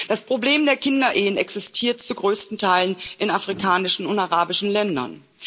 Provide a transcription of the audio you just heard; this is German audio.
Das Problem der Kinderehen existiert zu größten Teilen in afrikanischen und arabischen Ländern.